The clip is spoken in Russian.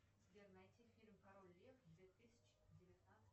сбер найди фильм король лев две тысячи девятнадцать